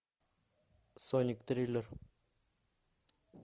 сонник триллер